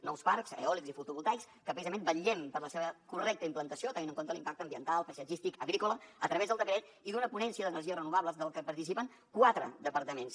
nous parcs eòlics i fotovoltaics que precisament vetllem per la seva correcta implantació tenint en compte l’impacte ambiental paisatgístic agrícola a través del decret i d’una ponència d’energies renovables de la que participen quatre departaments